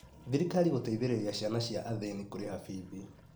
Thirikarĩ guteĩthererĩa ciana cĩa athĩnĩ kũreha bithi